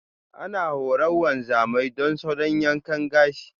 Ana horar wanzamai don salo yankan gashi.